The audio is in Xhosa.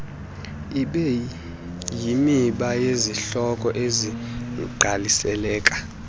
ibeyimiba yezihloko ezingqaliseka